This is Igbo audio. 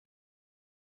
Ee, ọ nwamba dị ihe ahụ.